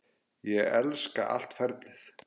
Ég elska allt ferlið.